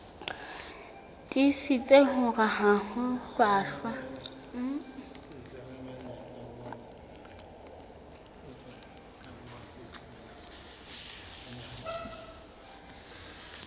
tiisitse hore ha ho hlwahlwa